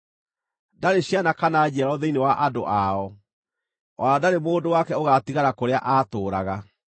Ndarĩ ciana kana njiaro thĩinĩ wa andũ ao, o na ndarĩ mũndũ wake ũgaatigara kũrĩa aatũũraga.